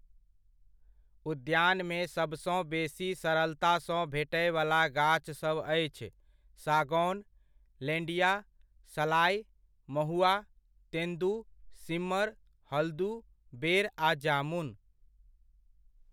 उद्यानमे सबसँ बेसी सरलतासँ भेटय वला गाछ सभ अछि सागौन, लेंडिया, सलाइ, महुआ, तेंदू, सीमर, हल्दू, बेर आ जामुन।